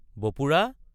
বপুৰা!